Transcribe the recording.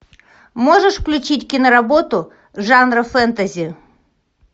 можешь включить киноработу жанра фэнтези